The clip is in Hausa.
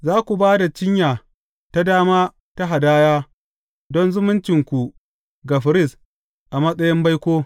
Za ku ba da cinya ta dama ta hadaya don zumuncinku ga firist a matsayin baiko.